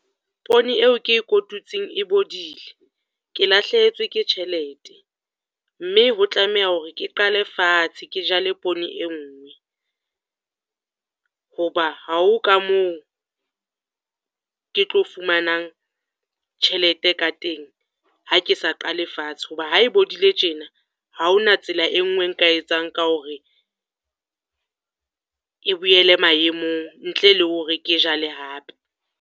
Pone eo ke e kotutseng e bodile. Ke lahlehetswe ke tjhelete, mme ho tlameha hore ke qale fatshe ke jale pone e nngwe, ho ba ha o ka moo ke tlo fumanang tjhelete ka teng ha ke sa qale fatshe. Ho ba ha e bolaile tjena, ha hona tsela e nngwe e nka etsang ka hore e boele maemong ntle le hore ke jale hape.